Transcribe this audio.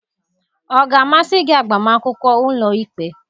Ọ ga-amasị gị agbamakwụkwọ ụlọikpe?